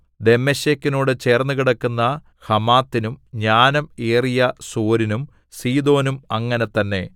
ദമ്മേശെക്കിനോടു ചേർന്നുകിടക്കുന്ന ഹമാത്തിനും ജ്ഞാനം ഏറിയ സോരിനും സീദോനും അങ്ങനെ തന്നെ